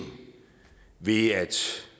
ved at